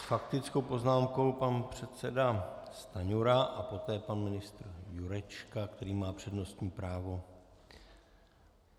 S faktickou poznámkou pan předseda Stanjura a poté pan ministr Jurečka, který má přednostní právo.